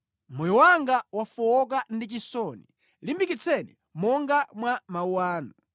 Moyo wanga wafowoka ndi chisoni; limbikitseni monga mwa mawu anu.